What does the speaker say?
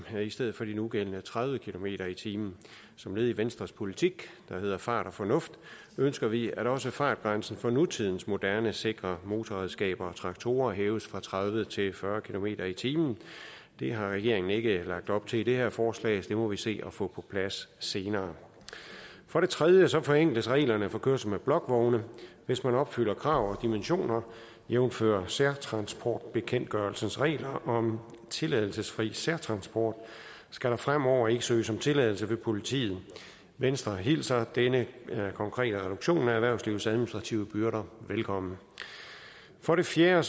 i stedet for de nugældende tredive kilometer per time som led i venstres politik der hedder fart med fornuft ønsker vi at også fartgrænsen for nutidens moderne sikre motorredskaber og traktorer hæves fra tredive til fyrre kilometer per time det har regeringen ikke lagt op til i det her forslag så det må vi se at få på plads senere for det tredje forenkles reglerne for kørsel med blokvogne hvis man opfylder krav om dimensioner jævnfør særtransportbekendtgørelsens regler om tilladelsesfri særtransport skal der fremover ikke søges om tilladelse hos politiet venstre hilser denne konkrete reduktion af erhvervslivets administrative byrder velkommen for det fjerde